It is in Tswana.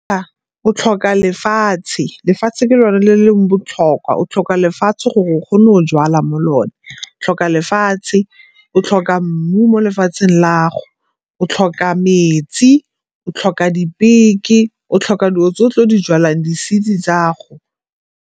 Fa, o tlhoka lefatshe. Lefatshe ke lone le leng botlhokwa, o tlhoka lefatshe gore o kgone o jwala mo lona, o tlhoka lefatshe, o tlhoka mmu mo lefatsheng lago, o tlhoka metsi o tlhoka dipeke, o tlhoka o dilo tse o tlo di jalang di-seed-i tsago.